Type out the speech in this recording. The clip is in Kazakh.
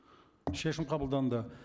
шешім қабылданды